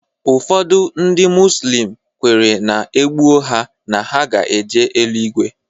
Ụfọdụ ndị muzlim kwetere na e gbuo ha na ha ga-eje eluigwe